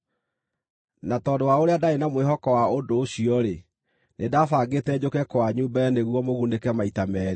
Na tondũ wa ũrĩa ndaarĩ na mwĩhoko wa ũndũ ũcio-rĩ, nĩndabangĩte njũke kwanyu mbere nĩguo mũgunĩke maita meerĩ.